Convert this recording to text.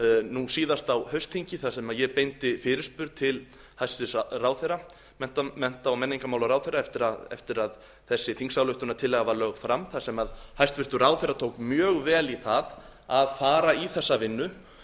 nú síðast á haustþingi þar sem ég beindi fyrirspurn til hæstvirts mennta og menningarmálaráðherra eftir að þessi þingsályktunartillaga var lögð þar sem hæstvirtur ráðherra tók mjög vel í það að fara í þessa vinnu